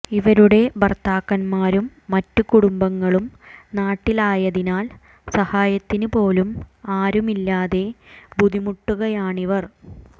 ഇവരുടെ ഭർത്താക്കന്മാരും മറ്റു കുടുംബങ്ങളും നാട്ടിലായതിനാൽ സഹായത്തിനു പോലും ആരുമില്ലാതെ ബുദ്ധിമുട്ടുകയാണിവർ